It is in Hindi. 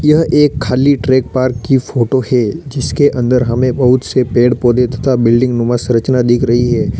यह एक खाली ट्रक पार्क की फोटो है जिसके हमें अन्दर हमें बहुत से पेड़ पौधे तथा बिल्डिंग नुमा संरचना दिख रही है।